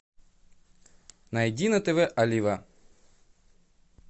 найди на тв олива